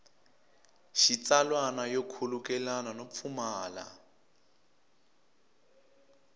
xitsalwana yo khulukelana no pfumala